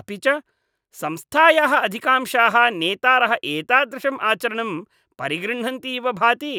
अपि च संस्थायाः अधिकांशाः नेतारः एतादृशम् आचरणं परिगृह्णन्ति इव भाति।